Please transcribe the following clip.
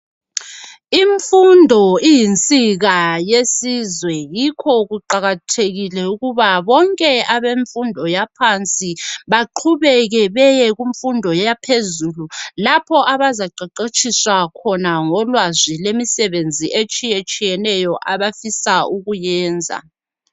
Imfundo iyinsika yesizwe yikho kuqakathekile ukuba bonke abemfundo yaphansi baqhubeke beyekumfundo yaphezulu, lapho abazaqeqetshiswa khona ngolwazi lwemisebenzi etshiyetshiyeneyo abafisa ukuyenza.